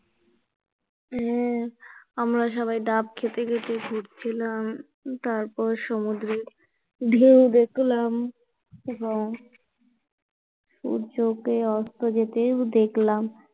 হ্যাঁ আমরা সবাই ডাব খেতে খেতে ঘুরছিলাম, তারপর সমুদ্রের ঢেউ দেখলাম এবং সূর্যটা অস্ত যেতেও দেখলাম